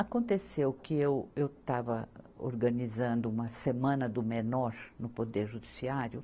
Aconteceu que eu, eu estava organizando uma Semana do Menor no Poder Judiciário.